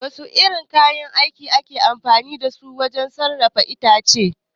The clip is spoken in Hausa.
Wasu irin kayan aiki ne ake amfani dasu wajen sassaƙa itace?